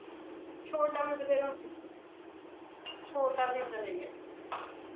ਛੋਟਾ ਵੀ ਬਥੇਰਾ ਛੋਟਾ ਵੀ ਇਹਦਾ ਦਾ ਹੀ ਹੈ